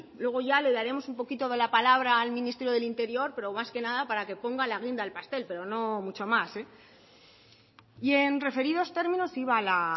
luego ya le daremos un poquito de la palabra al ministerio del interior pero más que nada para que ponga la guinda al pastel pero no mucho más y en referidos términos iba la